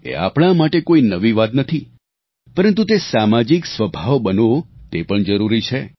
એ આપણે માટે કોઈ નવી વાત નથી પરંતુ તે સામાજિક સ્વભાવ બનવો તે પણ જરૂરી છે